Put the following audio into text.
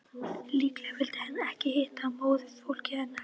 Líklega vill hann ekki hitta móðurfólkið hennar.